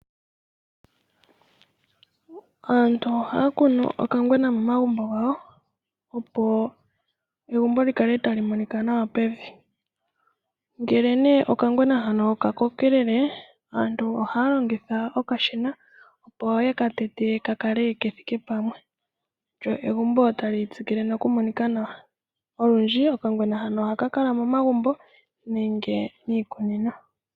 Aantu ohaya kunu okangwena momagumbo gawo, opo egumbo likale tali monika nawa pevi. Ngele okangwena hano ka kokelele aantu ohaya longitha okashina opo yeka tete ka kale kethike pamwe lyo egumbo tali tsikile noku monika nawa. Olundji okangwena hano ohaka kala momagumbo nenge miikunino.